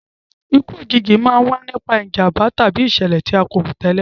Ikú òjijì a máa wa nipa ìjànbá tàbí ìsẹ̀lẹ̀ ti a ko rò tẹ́lẹ̀